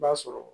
I b'a sɔrɔ